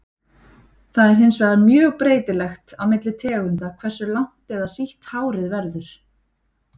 Það er hins vegar mjög breytilegt á milli tegunda hversu langt eða sítt hárið verður.